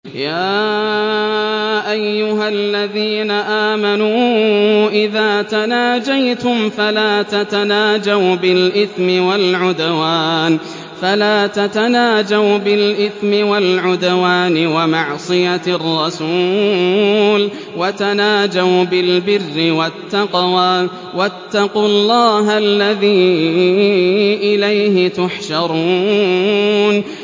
يَا أَيُّهَا الَّذِينَ آمَنُوا إِذَا تَنَاجَيْتُمْ فَلَا تَتَنَاجَوْا بِالْإِثْمِ وَالْعُدْوَانِ وَمَعْصِيَتِ الرَّسُولِ وَتَنَاجَوْا بِالْبِرِّ وَالتَّقْوَىٰ ۖ وَاتَّقُوا اللَّهَ الَّذِي إِلَيْهِ تُحْشَرُونَ